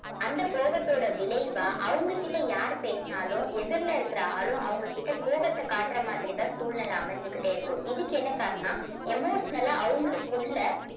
அந்த கோபத்தோட விளைவா அவுங்க கிட்ட யார் பேசினாலும் எதிர்ல இருக்கிற ஆளும் அவுங்க கிட்ட கோபத்த காட்டற மாதிரி தான் சூழ்நில அமைஞ்சுகிட்டே இருக்கும் இதுக்கு என்ன காரணன்னா emotional ஆ அவங்களுக்குள்ள